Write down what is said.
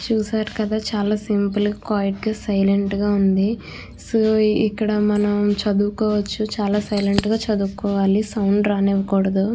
చూసారు కదా చాల సింపుల్ గ క్విట్ గ సైలెంట్ గ ఉంది సో ఇక్కడ మనం చదువుకోవచ్చు చాల సైలెంట్ గ చదువు కోవాలి సౌండ్ రానివ్వ కూడదు --